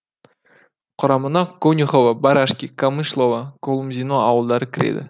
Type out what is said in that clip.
құрамына конюхово барашки камышлово колумзино ауылдары кіреді